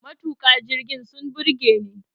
Matuka jirgin sun burge ni